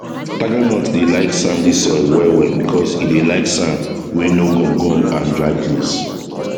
tigernut dey like sandy soil well well because e dey like sand wey no gum gum and dry place